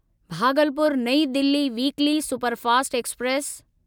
भागलपुर नईं Delhi weekly superfast express